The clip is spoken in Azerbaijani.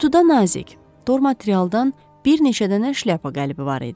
Qutuda nazik, tor materialdan bir neçə dənə şlyapa qəlibi var idi.